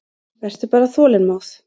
Vertu bara þolinmóð.